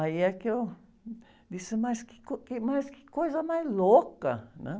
Aí é que eu disse, mas que co, que, mas que coisa mais louca, né?